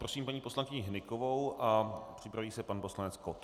Prosím paní poslankyni Hnykovou a připraví se pan poslanec Kott.